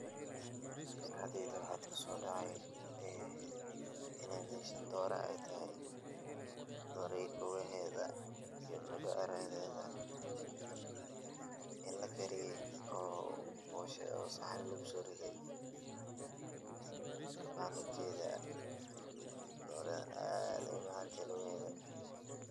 Maskaxdeyda waaxa kusodhacaayo ee iineey meshan dooro aytahay dooro luguheeda iyo mindiciraheedo inii lakariyay oo Boosha sahni lagusoriday ban uu jeeda dooradhan aad beyond uu macaantahay lugaheedo.